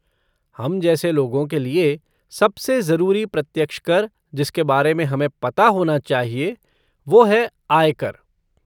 हम जैसे लोगों के लिये, सबसे ज़रूरी प्रत्यक्ष कर जिसके बारेमें हमें पता होना चाहिए वो है, आय कर।